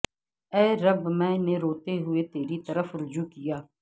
اے رب میں نے روتے ہوئے تیری طرف رجوع کیا